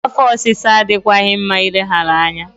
Afọ ọsịsa adịghịkwa mma ileghara anya.